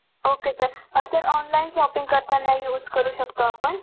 Ok sir um sir online shopping करताना use करू शकता आपण.